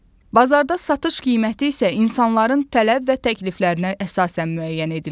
Bazarda satış qiyməti isə insanların tələb və təkliflərinə əsasən müəyyən edilir.